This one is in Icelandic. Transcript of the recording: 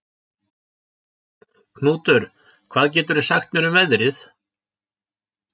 Knútur, hvað geturðu sagt mér um veðrið?